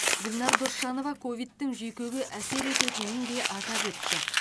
гүлнар досжанова ковидтің жүйкеге әсер ететінін де атап өтті